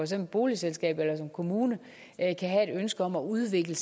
som boligselskab eller kommune kan have et ønske om at udvikle